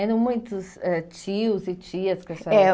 Eram muitos eh tios e tias com essa... É.